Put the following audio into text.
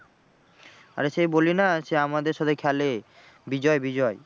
আরে সেই বলি না সেই আমাদের সাথে খেলে বিজয়, বিজয়